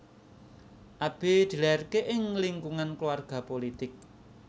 Abe dilahirke ing lingkungan keluarga pulitik